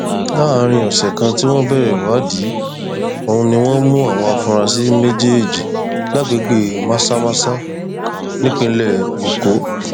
láàrin ọsẹ kan tí wọn bẹrẹ ìwádìí ọhún ni wọn mú àwọn afurasí méjèèjì lágbègbè mazamaza nípìnlẹ èkó